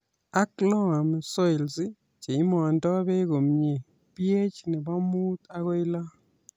Ak loam soils cheimondoi beek komye ,PH nebo muut agoi lo